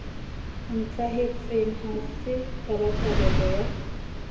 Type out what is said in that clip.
ntlhahetseng ha se tabatabelo ya